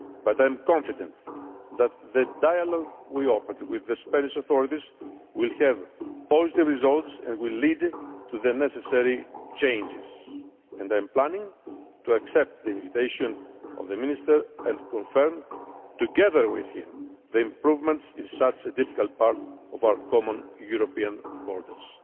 But I am confident that the dialogue we have opened with the Spanish authorities will have positive results and will lead to the necessary changes, and I am planning to accept the invitation of the Minister and confirm, together with him, the improvements in such a difficult part of our common European borders.